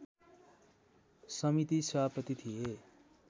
समिति सभापति थिए